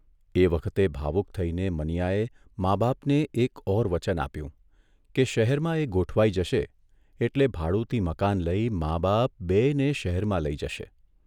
એ વખતે ભાવુક થઇને મનીયાએ મા બાપને એક ઓર વચન આપ્યું કે શહેરમાં એ ગોઠવાઇ જશે એટલે ભાડુતી મકાન લઇ મા બાપ બેયને શહેરમાં લઇ જશે.